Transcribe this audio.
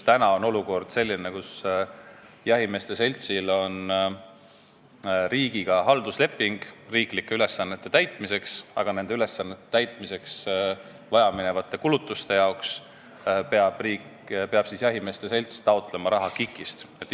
Täna on olukord selline, kus jahimeeste seltsil on riigiga haldusleping riiklike ülesannete täitmiseks, aga nende ülesannete täitmiseks vajaminevate kulutuste jaoks peab jahimeeste selts taotlema raha KIK-ist.